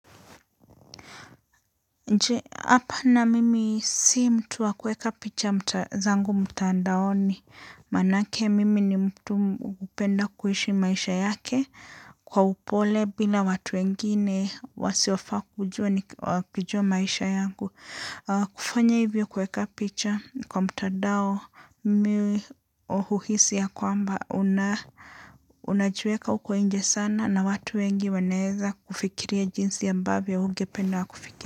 Je, hapana mimi si mtu wa kueka picha zangu mtandaoni, maanake mimi ni mtu upenda kuishi maisha yake kwa upole bila watu wengine wasiofaa kujua maisha yangu. Kufanya hivyo kueka picha kwa mtandao, mimi huhuhisi ya kwamba unajiweka huko inje sana na watu wengi wanaeza kufikiria jinsi ambavyo hugependa wakufikiria.